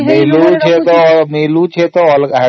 ମିଳୁଛି ତ ଅଲଗା